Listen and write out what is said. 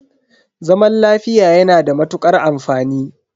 Zaman lafiya yana da matukar amfani.